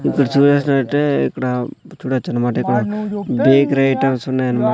ఇక్కడ చూఏసీనట్టే ఇక్కడ చూడచ్చు అన్నమాట ఇక్కడ డేక్ రైటర్స్ ఉన్నాయి అన్నమాట.